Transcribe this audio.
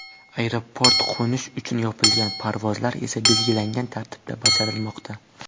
Aeroport qo‘nish uchun yopilgan, parvozlar esa belgilangan tartibda bajarilmoqda.